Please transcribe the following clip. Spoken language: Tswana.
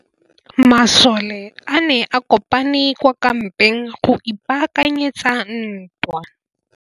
Masole a ne a kopane kwa kampeng go ipaakanyetsa ntwa.